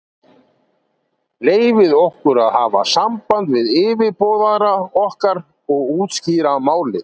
Leyfið okkur að hafa samband við yfirboðara okkar og útskýra málið.